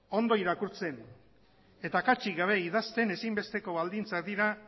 ondo irakurtzen eta akatsik gabe idazten ezinbesteko baldintzak dira